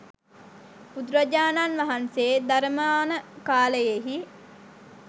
බුදුරජාණන් වහන්සේ ධරමාන කාලයෙහි